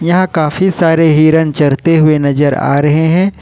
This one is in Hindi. यहां काफी सारे हिरण चरते हुए नजर आ रहे हैं।